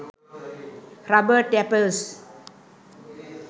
rubber tappers